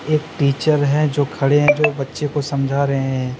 एक टीचर हैं जो खड़े हैं जो बच्चे को समझा रहे हैं।